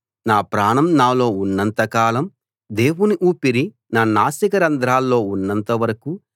నా ప్రాణం నాలో ఉన్నంత కాలం దేవుని ఊపిరి నా నాసికా రంధ్రాల్లో ఉన్నంత వరకు